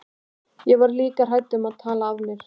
Ég var líka hrædd um að tala af mér.